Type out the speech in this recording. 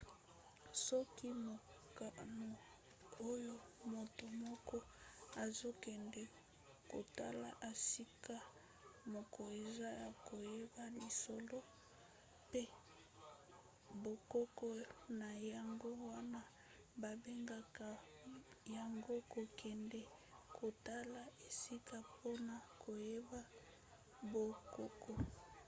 soki mokano oyo moto moko azokende kotala esika moko eza ya koyeba lisolo mpe bokoko na yango wana babengaka yango kokende kotala esika mpona koyeba bokoko